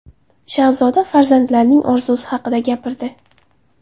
Shahzoda farzandlarining orzusi haqida gapirdi.